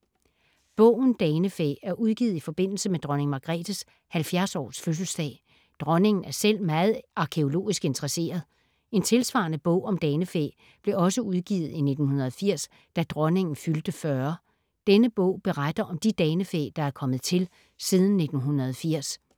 Bogen Danefæ er udgivet i forbindelse med Dronning Margrethes 70 års fødselsdag. Dronningen er selv meget arkæologisk interesseret. En tilsvarende bog om danefæ blev også udgivet i 1980, da Dronningen fyldte 40. Denne bog beretter om de danefæ, der er kommet til siden 1980.